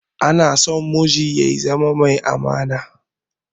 Anason miji ya zama mai amana